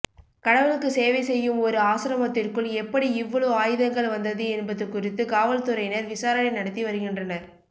கடவுளுக்கு சேவை செய்யும் ஒரு ஆசிரமத்திற்குள் எப்படி இவ்வளவு ஆயுதங்கள் வந்தது என்பது குறித்து காவல்துறையினர் விசாரணை நடத்தி வருகின்றனர்